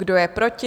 Kdo je proti?